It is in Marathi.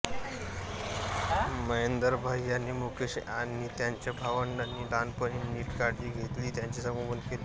महेंदरभाई यांनी मुकेश आणि त्यांच्या भावंडांची लहानपणी नीट काळजी घेतली त्यांचे संगोपन केले